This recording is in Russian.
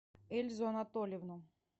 эльзу анатольевну